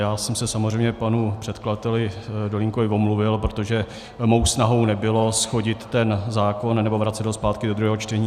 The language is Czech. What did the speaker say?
Já jsem se samozřejmě panu předkladateli Dolínkovi omluvil, protože mou snahou nebylo shodit ten zákon nebo vracet ho zpátky do druhého čtení.